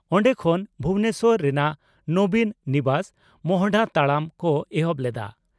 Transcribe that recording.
ᱚᱱᱰᱮ ᱠᱷᱚᱱ ᱵᱷᱩᱵᱚᱱᱮᱥᱚᱨ ᱨᱮᱱᱟᱜ 'ᱱᱚᱵᱤᱱ' ᱱᱤᱵᱟᱥ ᱢᱚᱦᱚᱰᱟ ᱛᱟᱲᱟᱢ ᱠᱚ ᱮᱦᱚᱵ ᱞᱮᱫᱼᱟ ᱾